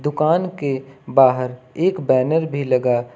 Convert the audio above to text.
दुकान के बाहर एक बैनर भी लगा--